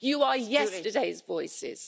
You are yesterday's voices.